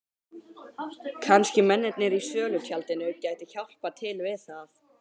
Kannski mennirnir í sölutjaldinu gætu hjálpað til við það.